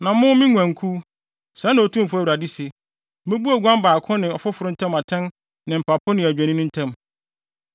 “ ‘Na mo, me nguankuw, sɛɛ na Otumfo Awurade se: Mebu oguan baako ne ɔfoforo ntam atɛn ne mpapo ne adwennini ntam.